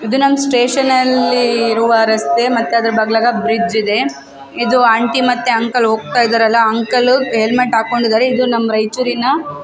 ಇದ್ ನಮ್ಮ್ ಸ್ಟೇಷನ್ ಅಲ್ಲೀ ಇರುವ ರಸ್ತೆ ಮತ್ತ್ ಅದ್ರ ಬಾಗ್ಲಗ್ ಬ್ರಿಡ್ಜ್ ಇದೆ ಇದು ಆಂಟಿ ಮತ್ತೆ ಅಂಕಲ್ ಹೋಗ್ತಾಯಿದ್ದರಲ್ಲ ಅಂಕಲ್ಲು ಹೆಲ್ಮೆಟ್ ಹಾಕ್ಕೊಂಡಿದ್ದಾರೆ ಇದು ನಮ್ಮ್ ರಯ್ಚೂರಿನ --